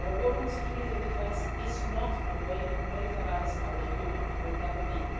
Our work on security and defence is not a way to militarise our Union and will never be.